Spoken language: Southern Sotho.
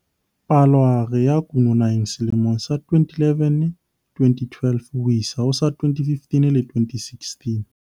Palohare ya kuno naheng selemong sa 2011-2012 ho isa ho sa 2015-2016.